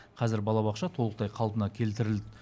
қазір балабақша толықтай қалпына келтірілді